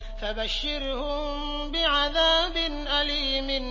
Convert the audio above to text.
فَبَشِّرْهُم بِعَذَابٍ أَلِيمٍ